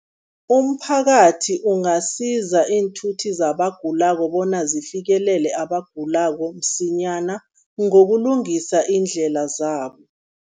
Umphakathi ungasiza iinthuthi zabagulako bona zifikelele abagulako msinyana, ngokulungisa iindlela zabo.